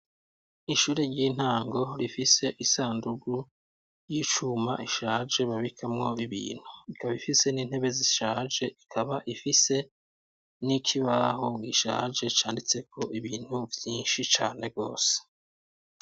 Ishure ry'intango rifise isandugu yicuma ishaje babikamwo ibintu, ikaba ifise n'intebe zishaje, ikaba ifise n'ikibaho gishaje canditseko ibintu vyinshi cane gose.